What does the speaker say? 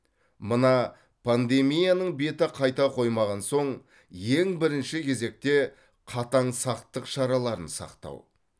мына пандемияның беті қайта қоймаған соң ең бірінші кезекте қатаң сақтық шараларын сақтау